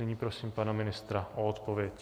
Nyní prosím pana ministra o odpověď.